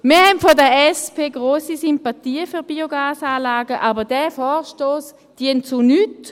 Wir von der SP haben grosse Sympathien für Biogasanlagen, aber dieser Vorstoss dient zu nichts.